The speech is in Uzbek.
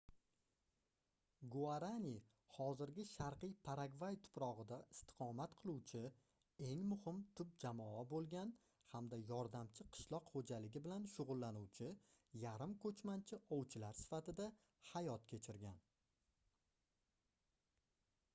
guarani hozirgi sharqiy paragvay tuprogʻida istiqomat qiluvchi eng muhim tub jamoa boʻlgan hamda yordamchi qishloq xoʻjaligi bilan shugʻullanuvchi yarim-koʻchmanchi ovchilar sifatida hayot kechirgan